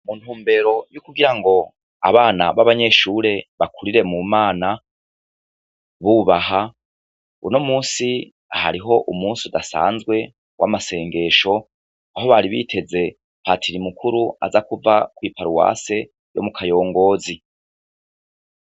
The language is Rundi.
Mu ntumbero y'ukugira ngo abana b'abanyeshure bakurire mu Mana, bubaha, uno munsi hariho umunsi udasanzwe w'amasengesho aho bari biteze patiri mukuru aza kuva kw'i paruwase yo mu Kayongozi.